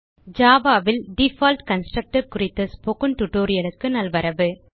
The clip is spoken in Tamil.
ஜாவா ல் டிஃபால்ட் கன்ஸ்ட்ரக்டர் குறித்த ஸ்போக்கன் டியூட்டோரியல் க்கு நல்வரவு